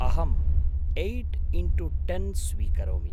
अहं eight into ten स्वीकरोमि।